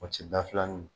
O ti dafilanin ye